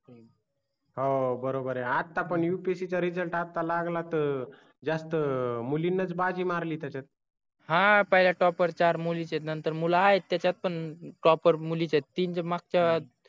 हो बरोबर आहे आता पण upsc चा result आता लागला तर जास्त मुलीनी बाजी मारली त्याचत हा पहिल्या topper चार मुलीच आहे नंतर मूल आहेत त्याचत पन topper मुलीच आहे तीन तर मागच्या